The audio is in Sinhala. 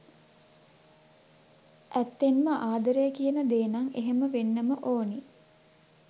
ඇත්තෙන්ම ආදරය කියන දේනම් එහෙම වෙන්නම ඕනි.